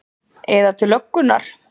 Eða til löggunnar?